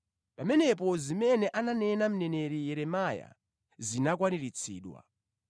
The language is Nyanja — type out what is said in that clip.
Pamenepo, zimene ananena mneneri Yeremiya zinakwaniritsidwa: